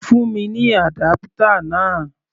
Fún mi ní adapter náà!